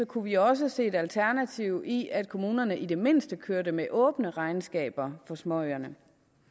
kunne vi også se et alternativ i at kommunerne i det mindste kørte med åbne regnskaber for småøerne